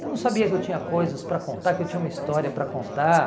Eu não sabia que eu tinha coisas para contar, que eu tinha uma história para contar.